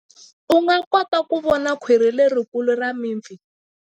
U nga kota ku vona khwiri lerikulu ra mipfi.